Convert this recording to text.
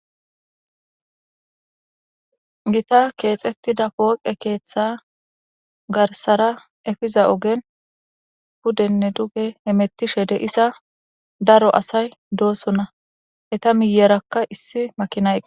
Gita keexetti da pooqe keeththa garsara efiza ogen puddenne duge emettishe deisa daro asay dooso na heta miyerakka issi makinaye